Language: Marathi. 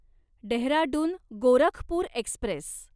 डेहराडून गोरखपूर एक्स्प्रेस